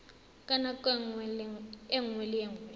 ka nako nngwe le nngwe